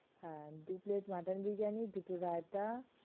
দু plate mutton biryani দুটো রায়তা